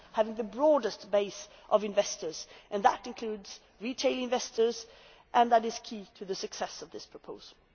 to have the broadest base of investors, and that includes retail investors and that is key to the success of this proposal.